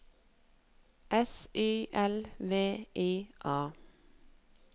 S Y L V I A